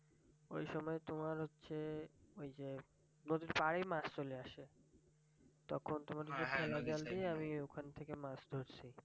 ওই সময় তোমার হচ্ছে ওই যে নদীর পাড়ে মাছ চলে আসে তখন তোমার ওই যে ঠেলা জাল দিয়ে আমি ওখান থেকে মাছ ধরছি